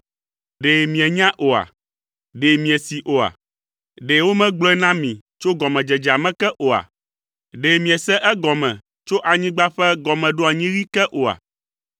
Ɖe mienya oa? Ɖe miesee oa? Ɖe womegblɔe na mi tso gɔmedzedzea me ke oa? Ɖe miese egɔme tso anyigba ƒe gɔmeɖoanyiɣi ke oa?